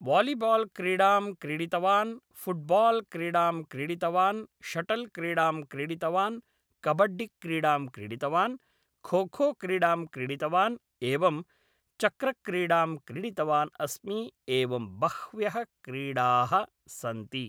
volleyball क्रीडां क्रीडितवान् football क्रीडां क्रीडितवान् शटल् क्रीडां क्रीडितवान् कब्बड्डि क्रीडां क्रीडितवान् खो खो क्रीडां क्रीडितवान् एवं चक्रक्रीडां क्रीडितवानस्मि एवं बह्व्यः क्रीडाः सन्ति